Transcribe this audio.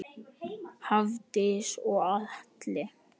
Hafdís og Atli.